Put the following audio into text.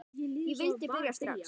Ég vildi byrja strax.